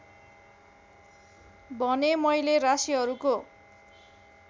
भने मैले राशिहरूको